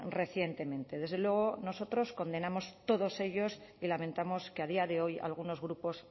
recientemente desde luego nosotros condenamos todos ellos y lamentamos que a día de hoy algunos grupos